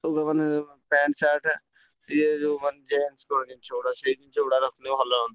ଲୁଗା ମାନେ pant, shirt ରଖିଲେ ଭଲ ହୁଅନ୍ତା।